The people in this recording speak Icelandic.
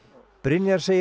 Brynjar segir